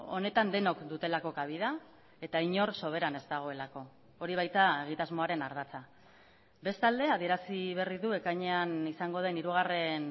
honetan denok dutelako kabida eta inor soberan ez dagoelako hori baita egitasmoaren ardatza bestalde adierazi berri du ekainean izango den hirugarren